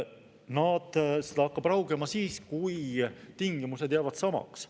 No see hakkab raugema siis, kui tingimused jäävad samaks.